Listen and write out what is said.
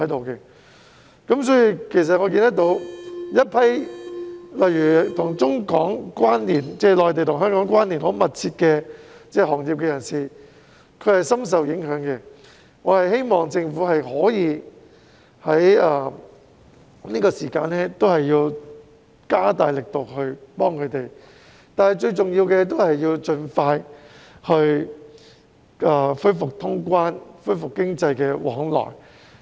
一些內地與香港關連很密切的行業的從業員深受影響，我希望政府可以在這段時間加大力度幫助他們，但最重要的，是要盡快恢復通關，恢復經濟往來。